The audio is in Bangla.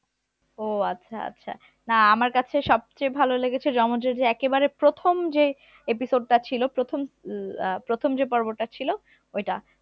ও আচ্ছা আচ্ছা না আমার কাছে সবচেয়ে ভালো লেগেছে যমজের যে একেবারে প্রথম যে episode টা ছিল প্রথম আহ প্রথম যে পর্বটা ছিল ওইটা